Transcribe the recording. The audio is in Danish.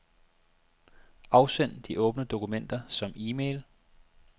Afsend de åbne dokumenter som e-mail.